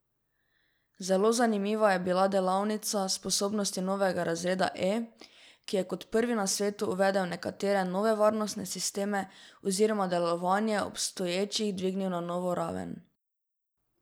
Zelo zanimiva je bila delavnica sposobnosti novega razreda E, ki je kot prvi na svetu uvedel nekatere nove varnostne sisteme oziroma delovanje obstoječih dvignil na novo raven.